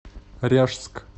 ряжск